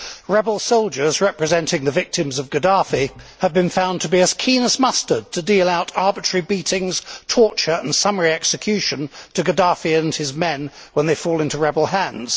Rebel soldiers representing the victims of Gaddafi have been found to be as keen as mustard to deal out arbitrary beatings, torture and summary execution to Gaddafi and his men when they fall into rebel hands.